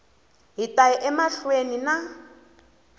hi ta ya emahlweni na